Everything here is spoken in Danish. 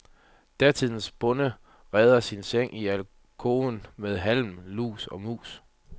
Datidens bonde reder sin seng i alkoven med halm, lus og mus.